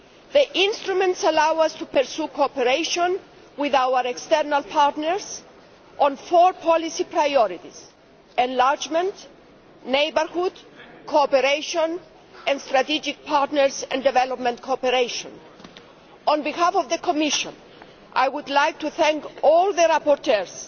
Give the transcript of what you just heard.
The instruments allow us to pursue cooperation with our external partners on four policy priorities enlargement, neighbourhood, cooperation with strategic partners and development cooperation. On behalf of the Commission, I would like to thank all the rapporteurs,